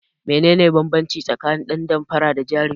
Menene banbanci tsakanin dan damfara da jarumi?